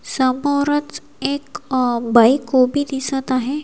समोरच एक बाईक उभी दिसत आहे.